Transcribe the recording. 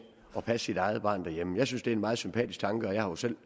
at passe sit eget barn derhjemme jeg synes det er en meget sympatisk tanke vi har jo selv